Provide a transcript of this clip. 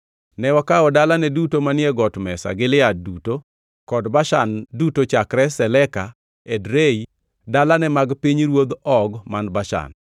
Ne wakawo dalane duto manie got mesa Gilead duto, kod Bashan duto chakre Saleka, Edrei, dalane mag pinyruodh Og man Bashan.